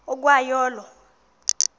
ukwa yo olo